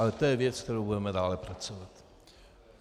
Ale to je věc, na které budeme dále pracovat.